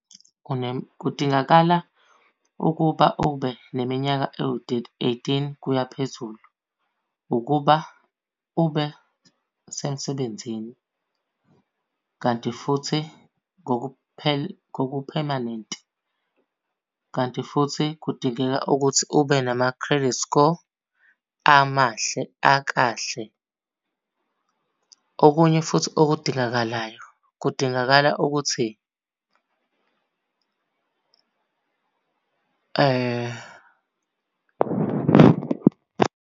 Kudingakala ukuba ube neminyaka ewu eighteen kuya phezulu ukuba ube semsebenzini. Kanti futhi ngokuphemanenti. Kanti futhi kudingeka ukuthi ube nama-credit score amahle akahle. Okunye futhi okudingakalayo, kudingakala ukuthi .